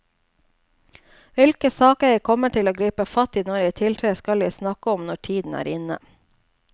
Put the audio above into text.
Hvilke saker jeg kommer til å gripe fatt i når jeg tiltrer, skal jeg snakke om når tiden er inne.